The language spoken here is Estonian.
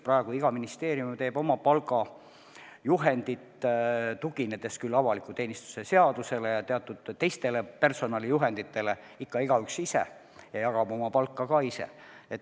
Praegu teeb iga ministeerium oma palgajuhendit, tuginedes küll avaliku teenistuse seadusele ja teatud teistele personalijuhenditele, aga ikka igaüks mõtleb ise ja jagab oma palka ka ise.